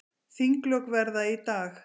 Þinglok verða í dag.